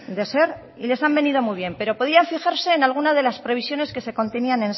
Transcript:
de ser y les han venido muy bien pero podían fijarse en alguna de las previsiones que se contenían